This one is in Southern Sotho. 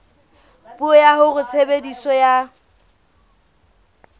puo ya hore tshebediso ya